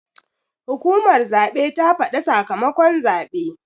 Hukumar zaɓe ta faɗa sakamakon zaɓe.